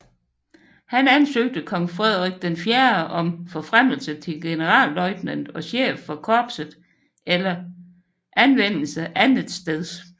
Han ansøgte kong Frederik IV om forfremmelse til generalløjtnant og chef for korpset eller anvendelse andetsteds